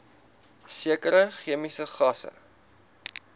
sekere chemiese gasse